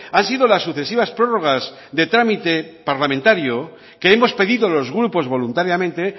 han sido las sucesivas prórrogas de trámite parlamentario que hemos pedido los grupos voluntariamente